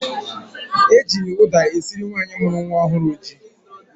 Eji ụda esiri nwaanyị mụrụ nwa ọhụrụ ji.